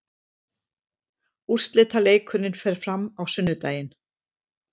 Úrslitaleikurinn fer fram á sunnudaginn.